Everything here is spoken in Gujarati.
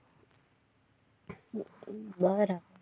વાહ રા